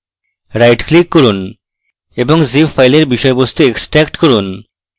right click করুন এবং zip file বিষয়বস্তু extract করুন